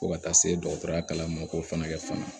Fo ka taa se dɔgɔtɔrɔya kalan ma k'o fana kɛ fana